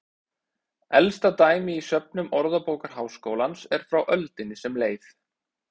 Elsta dæmi í söfnum Orðabókar Háskólans er frá öldinni sem leið.